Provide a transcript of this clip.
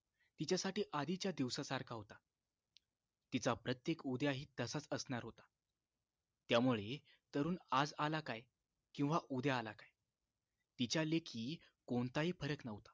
तिच्यासाठी आधीच्या दिवसासारखा होता तिचा प्रत्येक उद्या हि तसाच असणार होता त्यामुळे तरुण आज आला काय किंवा उद्या आला काय तिच्या लेखी कोणता हि फरक न्हवता